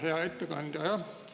Hea ettekandja!